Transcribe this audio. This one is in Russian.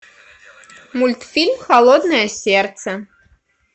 мультфильм холодное сердце